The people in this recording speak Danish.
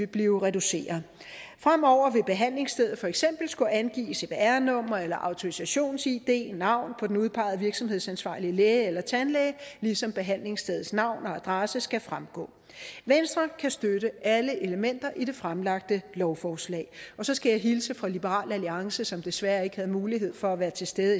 blive reduceret fremover vil behandlingsstedet for eksempel skulle angive cvr nummer eller autorisations id navn på den udpegede virksomhedsansvarlige læge eller tandlæge ligesom behandlingsstedets navn og adresse skal fremgå venstre kan støtte alle elementer i det fremsatte lovforslag og så skal jeg hilse fra liberal alliance som desværre ikke havde mulighed for at være til stede